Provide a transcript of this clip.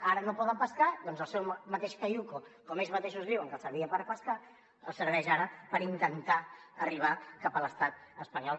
ara no poden pescar doncs el seu mateix caiuc com ells mateixos diuen que els servia per pescar els serveix ara per intentar arribar cap a l’estat espanyol